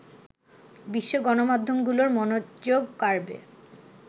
বিশ্ব গণমাধ্যমগুলোর মনোযোগ কাড়বে